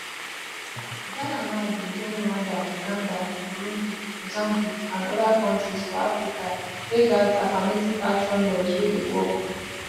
ghana now bin join rwanda uganda burundi mozambique and oda kontris for africa wey gat affirmative action laws wey dey work